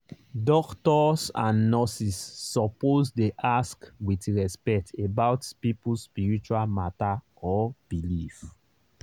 doctors and nurses suppose dey ask with respect about people spiritual matter or belief.